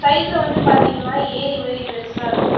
சைடுல வந்து பாத்தீங்கன்னா ஏரி மாரி பெருசா இருக்கு.